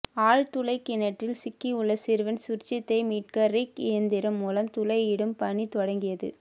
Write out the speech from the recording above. ஆழ்துளை கிணற்றில் சிக்கியுள்ள சிறுவன் சுர்ஜித்தை மீட்க ரிக் இயந்திரம் மூலம் துளையிடும் பணி தொடங்கியது